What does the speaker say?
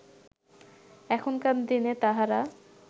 এখনকার দিনে তাঁহারা